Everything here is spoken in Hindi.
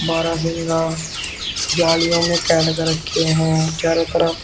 बारहसिंगा जालियों में कैद कर रखे हैं चारों तरफ--